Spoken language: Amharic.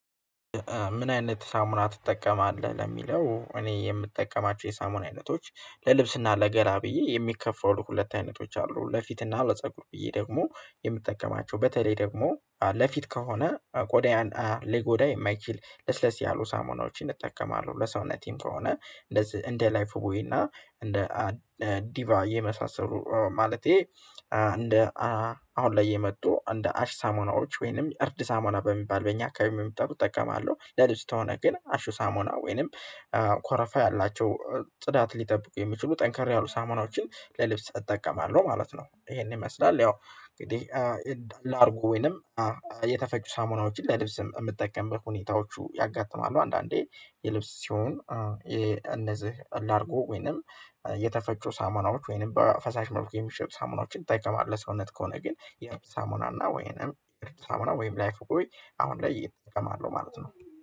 ምን አይነት ሳሙና ትጠቀማለህ? ለሚለው እኔ የምጠቀማቸው የሳሙና አይነቶች ለልብስና ለገላ ብዬ የሚከፈለው ሁለት አይነቶች አሉ። ለፊትና ለፀጉር ብዬ ደግሞ የምጠቀማቸው በተለይ ደግሞ ለፊት ከሆነ ቆዳያን ሊጎዳ የማይችል ለስለስ ያሉ ሳሙናዎችን እጠቀማለሁ። ለሰውነቴም ከሆነ እንደዚህ እንደ ላይፍ ወይና እንደ ዲቫ የመሳሰሉ ማለቴ እንደ አሁን ላይ የመጡ እንደ አሽ ሳሞናዎች ወይንም እርድ ሳሞና በሚባል በእኛ አካባቢ የሚጠቁት እጠቀማለሁ። ለልጅ ተሆነ ግን አሹ ሳሞና ወይንም ኮረፋ ያላቸው ጽዳት ሊጠብቁ የሚችሉ ጠንከር ያሉ ሳሞናዎችን ለልብስ እጠቀማለሁ ማለት ነው። ይሄንን ይመስላል ያው እንግዲህ ላርጉ ወይንም ሳሙናዎችን ለልብስ የምትጠቀምበት ሁኔታዎቹ ያጋጥማሉ። አንዳንዴ የልብስ ሲሆን አርጎ ወይንም የተፈጩ ሳሙናዎች ወይንም በፈሳሽ መልኩ የሚሸጥ ሳሙናዎችን ይጠይቀዋል። ለሰውነት ከሆነ ግን የሳሙና እና ወይንም ሳሙና ወይንም ላይክ ጎይ አሁን ላይ እጠቀማለሁ ማለት ነው